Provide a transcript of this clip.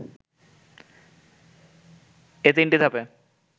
এ তিনটিধাপে